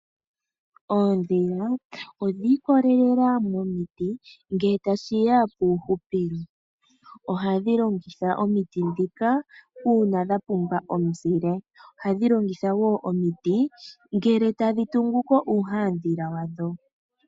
Oondhila odhiikololela momiti ngele tashiya puuhupilo, ohadhi longitha omiti ndhika uuna dha pumbwa omuzile, ohadhi longitha woo omiti ngele tadhi tungu ko uuhandhila wadho.